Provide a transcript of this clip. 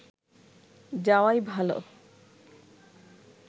যাওয়াই ভাল